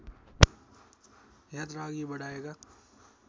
यात्रा अघि बढाएका